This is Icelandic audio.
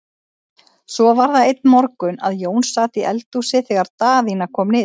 Svo var það einn morgun að Jón sat í eldhúsi þegar Daðína kom niður.